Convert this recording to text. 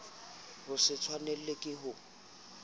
ho se tshwanelwe ke ho